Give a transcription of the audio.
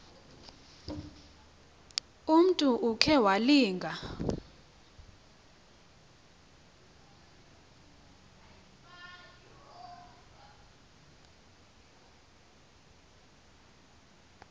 umntu okhe walinga